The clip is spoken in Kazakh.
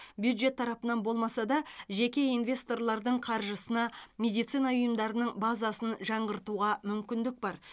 бюджет тарапынан болмаса да жеке инвесторлардың қаржысына медицина ұйымдарының базасын жаңғыртуға мүмкіндік бар